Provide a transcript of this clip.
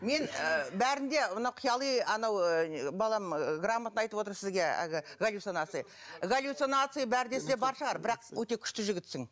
мен ы бәрін де мына қияли анау ы балам ы грамотно айтып отыр сізге әлгі галлюцинации галлюцинации бар десе бар шығар бірақ өте күшті жігітсің